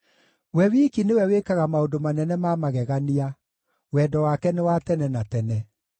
we wiki nĩwe wĩkaga maũndũ manene ma magegania, Wendo wake nĩ wa tene na tene.